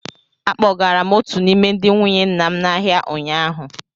Akpọgara m otu n’ime ndị nwunye nna m n'ahịa ụnyaahụ.